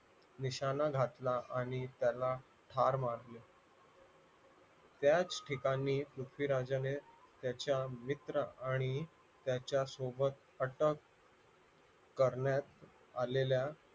निशाणा घातला आणि त्यांना ठार मारले त्याच ठिकाणी पृथ्वीराजाने त्याच्या मित्र आणि त्याच्यासोबत अटक करण्यात आलेल्या